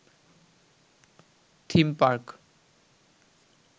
theme park